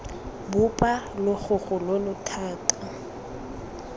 bopa logogo lo lo thata